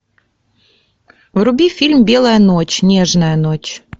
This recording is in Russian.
вруби фильм белая ночь нежная ночь